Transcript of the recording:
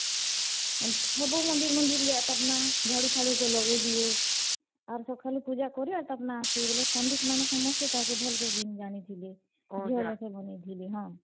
ସବୁ ମନ୍ଦିର୍ ମନ୍ଦିର୍ ଯାଏ ତାପ୍ ନେ ଝାଡୁ ଫାଡୁ ଲଗେଇ ଦିଏ, ଆର୍ ସଖାଲୁ ପୁଜା କରେ ଆଉ ତାପନେ ଆସେ ବେଲେ ପଣ୍ଡିତ୍ ମାନେ ତାକେ ସବୁ ଭଲ୍ ସେ ତାକେ ଜାନିଥିଲେ, ଝିଅ ଲେଖେନ୍ ବନେଇ ଥିଲେ ହଁ।